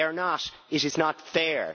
They are not, it is not fair.